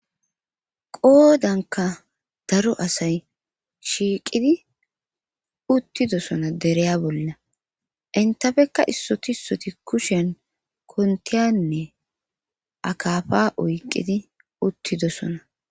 qoodanka daro asay shiiqidi uttidosona dereya bolla intafekka issotisoti kusheen kontiyanne akafa oyqqidi uttidosona